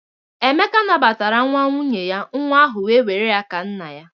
Emeka nabatara nwa nwunye ya, nwa ahụ wee nwere ya ka nna ya.